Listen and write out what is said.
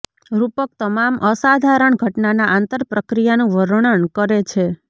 રૂપક તમામ અસાધારણ ઘટનાના આંતરપ્રક્રિયાનું વર્ણન કરે છે